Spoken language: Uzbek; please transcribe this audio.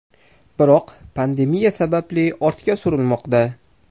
Biroq, pandemiya sababli ortga surilmoqda.